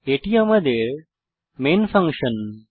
এটি আমাদের main function